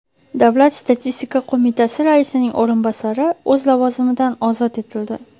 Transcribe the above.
Davlat statistika qo‘mitasi raisining o‘rinbosari o‘z lavozimidan ozod etildi.